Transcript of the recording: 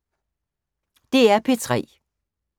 DR P3